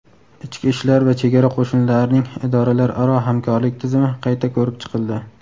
ichki ishlar va chegara qo‘shinlarining idoralararo hamkorlik tizimi qayta ko‘rib chiqildi.